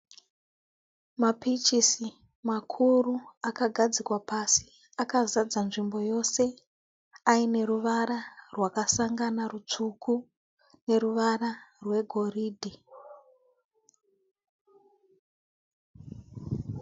Mapichisi makuru akagadzikwa pasi akazadza nzvimbo yose, aine ruvara rwakasangana rutsvuku neruvara rwegoridhe.